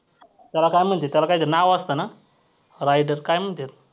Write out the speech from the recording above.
त्याला काय म्हणत्यात? त्याला काय तर नाव असतं ना rider काय म्हणत्यात?